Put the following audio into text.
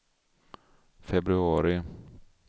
februari